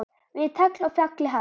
Við tagl á fjalli hagl.